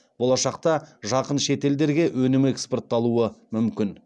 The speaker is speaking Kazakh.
болашақта жақын шет елдерге өнім экспортталуы мүмкін